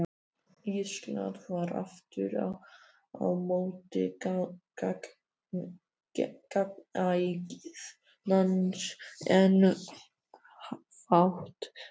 Íslandi var aftur á móti gnægð lands en fátt fólk.